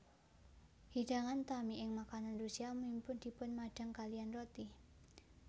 Hidangan utami ing makanan Rusia umumipun dipunmadang kaliyan roti